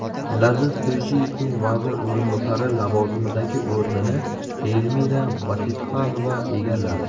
Laziz To‘ychiyevning vazir o‘rinbosari lavozimidagi o‘rnini Elmira Bositxonova egalladi.